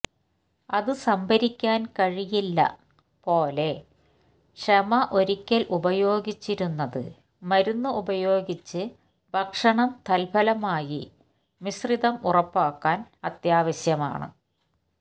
അത് സംഭരിക്കാൻ കഴിയില്ല പോലെ ക്ഷമ ഒരിക്കൽ ഉപയോഗിച്ചിരുന്നത് മരുന്ന് ഉപയോഗിച്ച് ഭക്ഷണം തത്ഫലമായി മിശ്രിതം ഉറപ്പാക്കാൻ അത്യാവശ്യമാണ്